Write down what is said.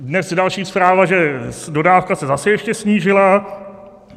Dnes je další zpráva, že dodávka se zase ještě snížila.